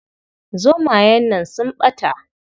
Zomayen nan sun ɓata.